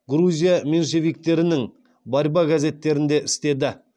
грузия меньшевиктерінің борьба газеттерінде істеді